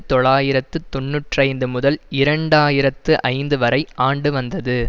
தொள்ளாயிரத்து தொன்னூற்றி ஐந்து முதல் இரண்டு ஆயிரத்தி ஐந்து வரை ஆண்டு வந்தது